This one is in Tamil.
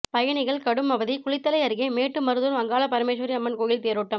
பயணிகள் கடும் அவதி குளித்தலை அருகே ேமட்டு மருதூர் அங்காள பரமேஸ்வரி அம்மன் கோயில் தேரோட்டம்